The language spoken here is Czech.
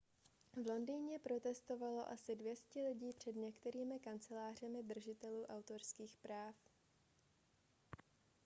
v londýně protestovalo asi 200 lidí před některými kancelářemi držitelů autorských práv